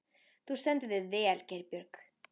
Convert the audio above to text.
Þú stendur þig vel, Geirbjörg!